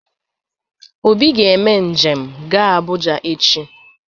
Obi ga-eme njem ga Abụja echi.